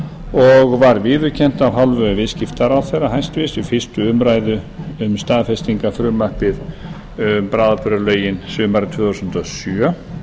og var viðurkennt af hálfu hæstvirtur viðskiptaráðherra við fyrstu umræðu um staðfestingarfrumvarpið um bráðabirgðalögin sumarið tvö þúsund og sjö